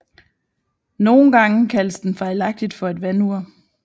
Nogle gange kaldes den fejlagtigt for et vandur